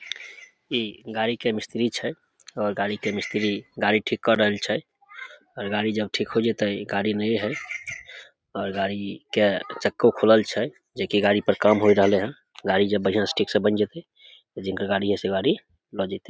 इ गाड़ी के मिस्त्री छै और गाड़ी के मिस्त्री गाड़ी ठीक काय रहल छै और गाड़ी जब ठीक होय जेते गाड़ी नई है और गाड़ी के चक्कों खुलल छै एके गाड़ी पर काम होय रहले है गाड़ी जब बढ़िया से ठीक से बेन जेतेे जिनकर गाड़ी या से गाड़ी ला जेते।